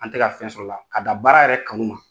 An tɛ ka fɛn sɔr'a la, ka da baara yɛrɛ kanu ma